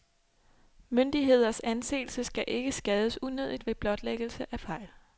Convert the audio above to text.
Myndigheders anseelse skal ikke skades unødigt ved blotlæggelse af fejl.